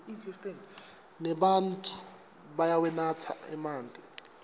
nebatfu bayawanatsa emanti